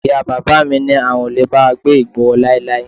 Ìyá bàbá mi ní àwọn ò lè bá wa gbé ìgboro láíláí